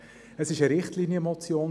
Es ist zu Recht eine Richtlinienmotion.